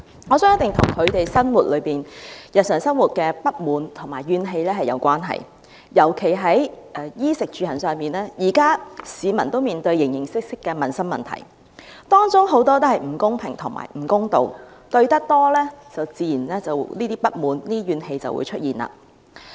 我相信一定與他們日常生活中的不滿和怨氣有關，尤其是在衣食住行方面，現時市民都面對形形色色的民生問題，當中很多都是不公平和不公道，面對多了，自然便會出現不滿和怨氣。